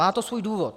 Má to svůj důvod.